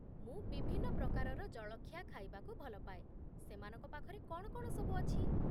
ମୁଁ ବିଭିନ୍ନ ପ୍ରକାରର ଜଳଖିଆ ଖାଇବାକୁ ଭଲ ପାଏ, ସେମାନଙ୍କ ପାଖରେ କ'ଣ କ'ଣ ସବୁ ଅଛି?